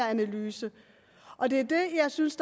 analysen og det er det jeg synes